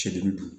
Sedili dun